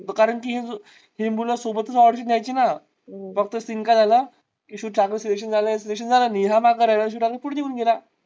कारण कि हि मूळ सोबतच audition व्हायची ना फक्त scene काय झाला. कि शिव ठाकरे च selection झालं याच झालं नाही. हा मागे राहिला शिव ठरे पुढे निघून गेला.